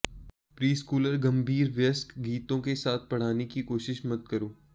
preschooler गंभीर वयस्क गीतों के साथ पढ़ाने की कोशिश मत करो